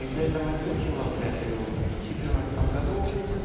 из-за этого чучело блять в четырнадцатом году